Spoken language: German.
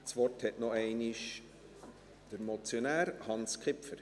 Das Wort hat nochmals der Motionär Hans Kipfer.